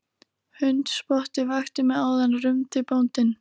Hundspottið vakti mig áðan rumdi bóndinn.